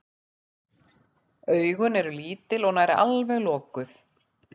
Augun eru lítil og nær alveg lokuð.